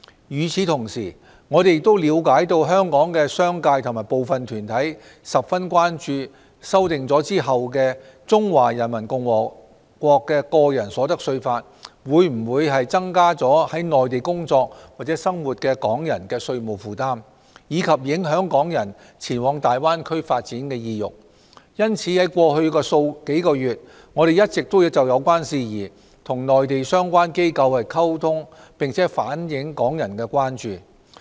與此同時，我們了解香港的商界和部分團體均十分關注修訂後的《中華人民共和國個人所得稅法》會否增加在內地工作或生活的港人的稅務負擔，以及影響港人前往大灣區發展的意欲，因此在過去數月，我們一直就有關事宜與內地相關機構溝通，並反映港人的關注。